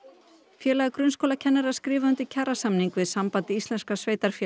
félag grunnskólakennara skrifaði undir kjarasamning við Samband íslenskra sveitarfélaga